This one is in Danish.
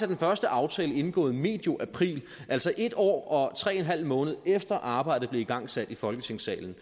den første aftale indgået medio april altså en år og tre en halv måned efter at arbejdet blev igangsat i folketingssalen